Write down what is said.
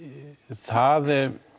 það